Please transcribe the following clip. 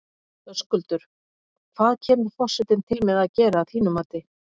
Höskuldur, hvað kemur forsetinn til með að gera að þínu mati?